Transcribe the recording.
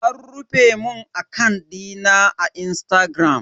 An rufe mun akant dina na Instagram.